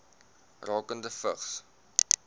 rakende vigs